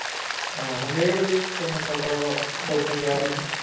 ਆਹ ਡੇਢ ਦੀ ਤੈਨੂੰ ਪਤਾ ਵਾ